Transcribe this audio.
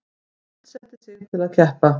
Skuldsetti sig til að keppa